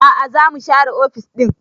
A'a za mu share ofis ɗin